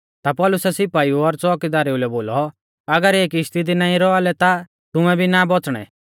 ता पौलुसै सिपाइऊ और च़ोअकीदारु लै बोलौ अगर इऐ किश्ती दी नाईं रौआ लै ता तुमै भी ना बौच़णै